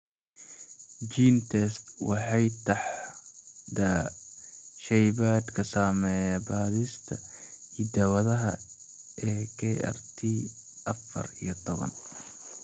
GeneTests waxay taxdaa shaybaadhka sameeya baadhista hidda-wadaha ee KRT afaar iyo tobaan.